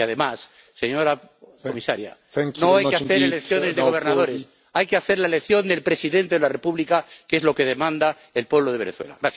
Y además, señora comisaria, no hay que hacer elecciones de gobernadores, hay que hacer la elección del presidente de la República, que es lo que demanda el pueblo de Venezuela.